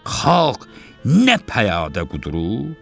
Xalq nə pəyadə qudurub?